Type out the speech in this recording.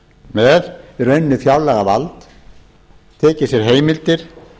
með í rauninni fjárlagavaldið tekið sér heimildir